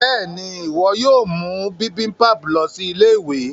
béèni iwọ yóò mú bibimpap lọ sí Ilé-ìwé.